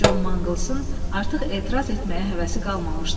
Con Manglsın artıq etiraz etməyə həvəsi qalmamışdı.